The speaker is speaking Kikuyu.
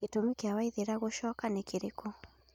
Gĩtumi gĩa Waithĩra gũcoka nĩ kĩrĩkũ